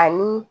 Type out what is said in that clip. Ani